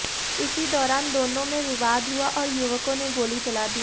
इसी दौरान दोनों में विवाद हुआ और युवकों ने गोली चला दी